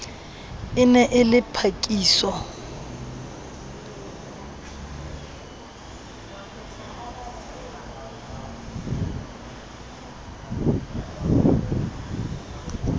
e ne e le phakiso